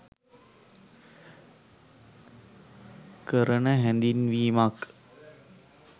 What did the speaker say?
කරන හැඳින්වීමක්.